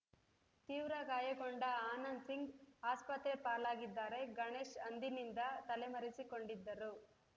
ತೀವ್ರ ಗಾಯಗೊಂಡ ಆನಂದ್‌ ಸಿಂಗ್‌ ಆಸ್ಪತ್ರೆ ಪಾಲಾಗಿದ್ದರೆ ಗಣೇಶ್‌ ಅಂದಿನಿಂದ ತಲೆಮರೆಸಿಕೊಂಡಿದ್ದರು